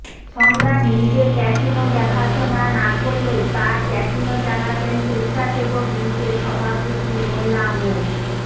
সম্রাট নিজে ক্যাসিনো দেখাশোনা না করলেও তার ক্যাসিনো চালাতেন স্বেচ্ছাসেবক লীগের সভাপতি মোল্লা মো